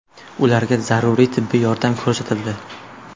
Ularga zaruriy tibbiy yordam ko‘rsatildi.